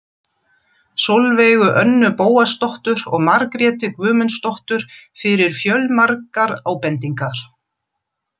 Sólveigu Önnu Bóasdóttur og Margréti Guðmundsdóttur fyrir fjölmargar ábendingar.